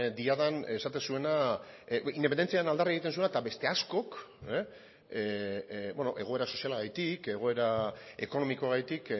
diadan esaten zuena independentziaren aldarri egiten zuena eta beste askok egoera sozialagatik egoera ekonomikoagatik